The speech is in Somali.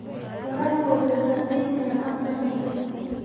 Waraabka wuxuu saameyn karaa habka cuntada.